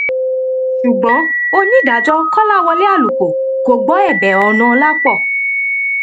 ṣùgbọn onídàájọ kọláwọlé àlùkò kò gbọ ẹbẹ ọnàọlàpọ